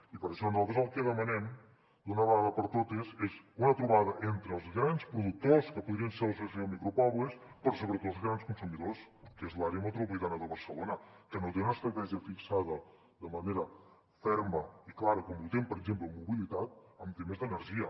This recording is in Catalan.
i per això nosaltres el que demanem d’una vegada per totes és una trobada entre els grans productors que podrien ser l’associació de micropobles però sobretot els grans consumidors que és l’àrea metropolitana de barcelona que no té una estratègia fixada de manera ferma i clara com tenim per exemple en mobilitat en temes d’energia